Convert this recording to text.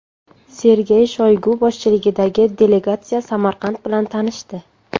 Sergey Shoygu boshchiligidagi delegatsiya Samarqand bilan tanishdi.